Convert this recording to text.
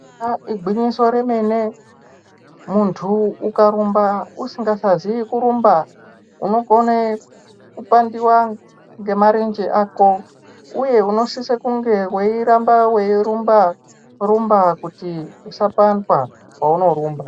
Ah igwinyiso remene muntu ukarumba usingasazive kurumba unokone kupandiva ngemarenje ako uye unosise kunge veiramba veirumba rumba kuti usapandwa pounorumba.